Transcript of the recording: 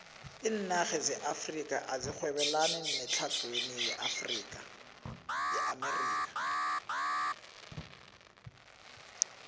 iinarha zeafrika azirhwebelani nezetlhagwini yeamerika